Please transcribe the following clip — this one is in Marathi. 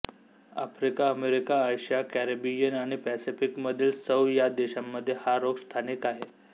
आफ्रिका अमेरिका आशिया कॅरिबियन आणि पॅसिफिकमधील सौ या देशांमधे हा रोग स्थानिक आहे